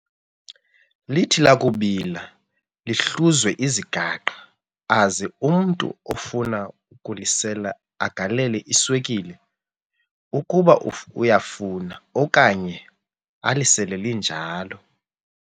Lithi lakubila lihluzwe, izigaqa aze umntu ofuna ukulisela agalele iswekile ukuba uyafuna okanye alisele linjalo.